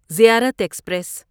زیارت ایکسپریس